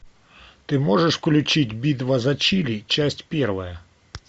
ты можешь включить битва за чили часть первая